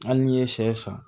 Hali n'i ye sɛ san